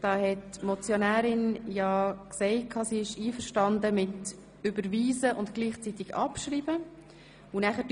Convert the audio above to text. Die Motionärin ist mit dem Überweisen und gleichzeitigen Abschreiben einverstanden.